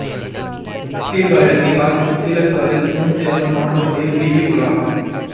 சீர்காழி அருகே காத்திருப்பு கீழச்சாலையில் சின்னந்தியம்மன் மாட்டு வண்டியில் வீதி உலா